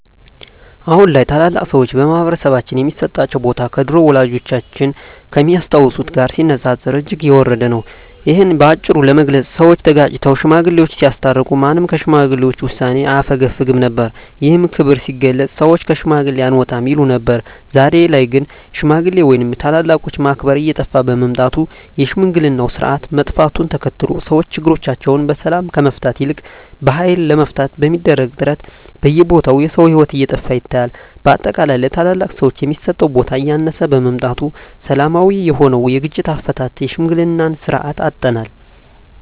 አሁን ላይ ታላላቅ ሰዎች በማህበረሰባችን ሚሰጣቸው ቦታ ከድሮው ወላጆቻችን ከሚያስታውሱት ጋር ሲነጻጸር እጅግ የወረደ ነው። እሂን በአጭሩ ለመግለጽ ሰወች ተጋጭተው ሽማግሌወች ሲያስታርቁ ማንም ከሽማግሌ ውሳኔ አያፈገፍግም ነበር። ይህም ክብር ሲገለጽ ሰወች ከሽማግሌ አልወጣም ይሉ ነበር። ዛሬ ላይ ግን ሽማግሌ ወይም ታላላቆችን ማክበር እየጠፋ በመምጣቱ የሽምግልናው ስርአት መጥፋቱን ተከትሎ ሰወች ችግሮቻቸውን በሰላም ከመፍታት ይልቅ በሀይል ለመፍታት በሚደረግ ጥረት በየቦታው የሰው ሂወት እየጠፋ ይታያል። በአጠቃላይ ለታላላቅ ሰወች የሚሰጠው ቦታ እያነሰ በመምጣቱ ሰላማዊ የሆነውን የግጭት አፈታት የሽምግልናን ስርአት አጠናል።